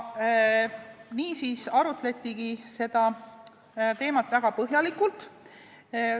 Niisiis arutletigi seda teemat väga põhjalikult.